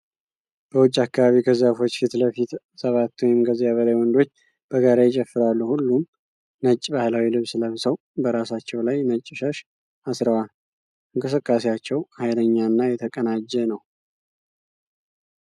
በውጪ አከባቢ ከዛፎች ፊት ለፊት ሰባት ወይም ከዚያ በላይ ወንዶች በጋራ ይጨፍራሉ። ሁሉም ነጭ ባህላዊ ልብስ ለብሰው በራሳቸው ላይ ነጭ ሻሽ አስረዋል። እንቅስቃሴያቸው ኃይለኛና የተቀናጀ ነው።